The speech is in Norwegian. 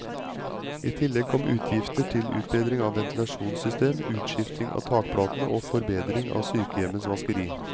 I tillegg kom utgifter til utbedring av ventilasjonssystem, utskifting av takplatene og forbedring av sykehjemmets vaskeri.